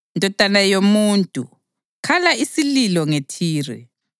“Ndodana yomuntu, khala isililo ngeThire,